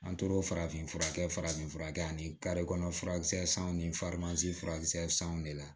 An tora farafin fura kɛ farafinfura kɛ ani kɔnɔ furakisɛ sanw ni furakisɛ sanw de la